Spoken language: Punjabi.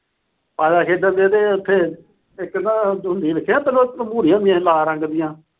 ਪਾਸਾ ਖੇਡਣ ਡਏ ਤੇ ਉਥੇ ਇਕ ਨਾ, ਦੇਖਿਆਂ ਤੂੰ ਭੂਰੀਆਂ ਹੁੰਦੀਆਂ ਸੀ ਲਾਲ ਰੰਗ ਦੀਆਂ।